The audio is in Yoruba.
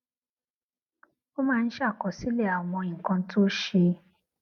ó máa ń ṣàkọsílè àwọn nǹkan tó ṣe